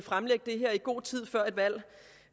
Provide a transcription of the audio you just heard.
fremlægge det her i god tid før et valg